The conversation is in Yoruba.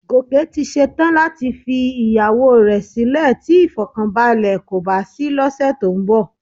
Gòkè ti ṣe tán láti fi ìyàwó rẹ sílè tí ìfọ̀kànbalẹ̀ kò bá sí lọ́sẹ̀ tó ń bọ̀